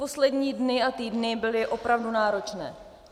Poslední dny a týdny byly opravdu náročné.